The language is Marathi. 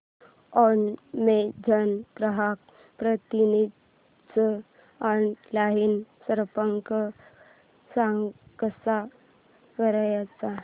अॅमेझॉन ग्राहक प्रतिनिधीस ऑनलाइन संपर्क कसा करायचा